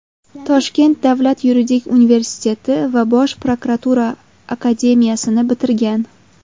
Toshkent davlat yuridik universiteti va Bosh prokuratura akademiyasini bitirgan.